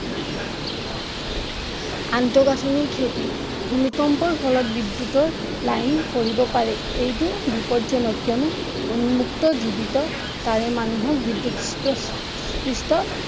আন্তঃগাঠনিৰ ক্ষতি ভূমিকম্পৰ ফলত বিদ্য়ুৎৰ লাইন পৰিব পাৰে বিপদজনক উন্মুক্ত জীৱিত তাঁৰে মানুহক পৃষ্ঠ